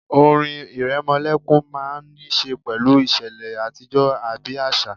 Orin ìrẹmọlẹ́kún máà ń ní ṣe pẹ̀lú ìṣẹ̀lẹ̀ àtijọ́ àbí àṣà